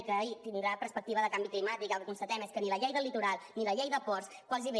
i que tindrà perspectiva de canvi climàtic i el que constatem és que ni la llei del litoral ni la llei de ports gairebé